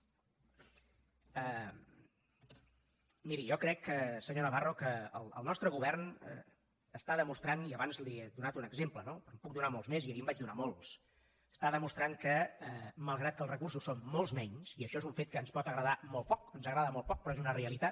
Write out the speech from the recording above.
miri jo crec senyor navarro que el nostre govern demostra i abans li n’he donat un exemple no en puc donar molts més i ahir en vaig donar molts que malgrat que els recursos són molts menys i això és un fet que ens pot agradar molt poc ens agrada molt poc però és una realitat